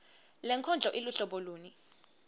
lenkondlo iluhlobo luni